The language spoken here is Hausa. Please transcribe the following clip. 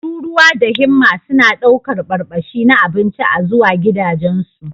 Tururuwa da himma suna ɗaukar barbashi na abinci a zuwa gidajensu.